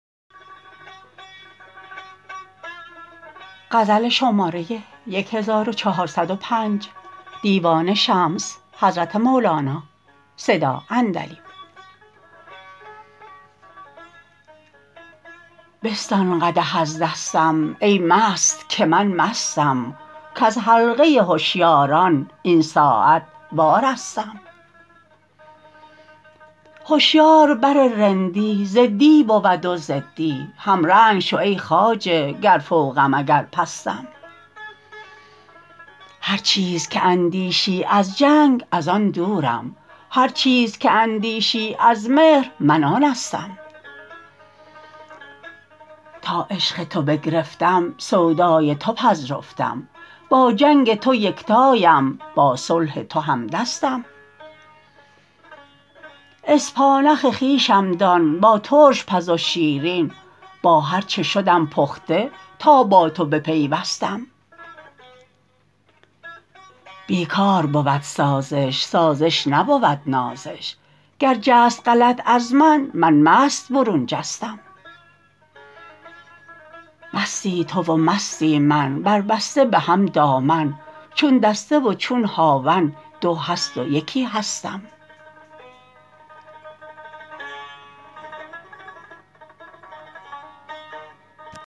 بستان قدح از دستم ای مست که من مستم کز حلقه هشیاران این ساعت وارستم هشیار بر رندی ضدی بود و ضدی همرنگ شو ای خواجه گر فوقم اگر پستم هر چیز که اندیشی از جنگ از آن دورم هر چیز که اندیشی از مهر من آنستم تا عشق تو بگرفتم سودای تو پذرفتم با جنگ تو یکتاام با صلح تو همدستم اسپانخ خویشم دان با ترش پز و شیرین با هر چه شدم پخته تا با تو بپیوستم بی کار بود سازش سازش نبود نازش گر جست غلط از من من مست برون جستم مستی تو و مستی من بربسته به هم دامن چون دسته و چون هاون دو هست و یکی هستم